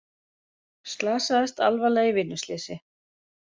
Slasaðist alvarlega í vinnuslysi